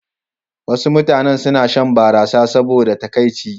Wasu mutane suna shan barasa saboda takaici.